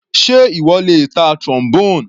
Sé ìwọ lè ta Trombone?